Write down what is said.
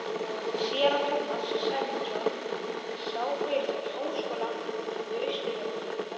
Séra Tómas Sæmundsson sá fyrir sér háskóla við Austurvöll.